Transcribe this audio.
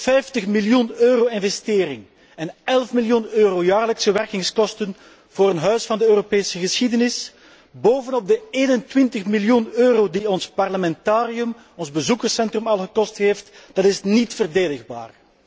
50 miljoen euro investering en 11 miljoen euro jaarlijkse werkingskosten voor een Huis van de Europese geschiedenis, bovenop de 21 miljoen euro die ons Parlamentarium, ons bezoekerscentrum, al gekost heeft, dat is niet verdedigbaar.